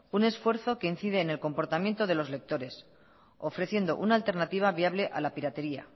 un esfuerzo que incide en el comportamiento de los lectores ofreciendo una alternativa viable a la piratería